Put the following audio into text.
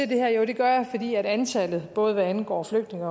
det her jo det gør jeg fordi antallet både hvad angår flygtninge